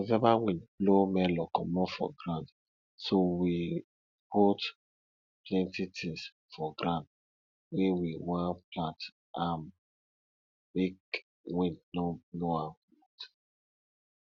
november wind blow melon comot for ground so we put plenty things for ground wey we wan plant am make wind no blow am commot